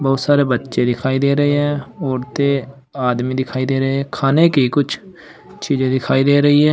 बहुत सारे बच्चे दिखाई दे रहे हैं उड़ते आदमी दिखाई दे रहे हैं खाने की कुछ चीजे दिखाई दे रही है।